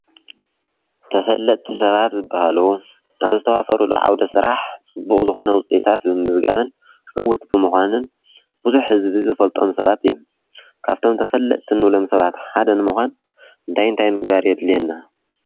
ተፈለጥቲ ሰባት ዝባሃሉ ናብ ዝተዋፈሩሉ ዓውደ ስራሕ ፅቡቕ ዝኾነ ዉፅኢታት ብምምዝጋብን ዕውት ብምዃንን ብዙሕ ህዝቢ ዝፈልጦም ሰባት እዩ፡፡ ካብቶም ተፈልጥቲ እንብሎም ሰባት ሓደ ንምዃን እንታይ አንታይ ምግባር የድልየና?